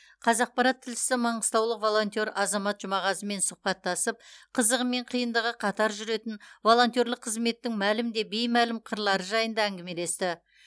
қазақпарат тілшісі маңғыстаулық волонтер азамат жұмағазымен сұхбаттасып қызығы мен қиындығы қатар жүретін волонтерлік қызметтің мәлім де беймәлім қырлары жайында әңгімелесті